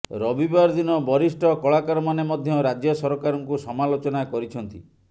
ରବିବାର ଦିନ ବରିଷ୍ଠ କଳାକାରମାନେ ମଧ୍ୟ ରାଜ୍ୟ ସରକାରଙ୍କୁ ସମାଲୋଚନା କରିଛନ୍ତି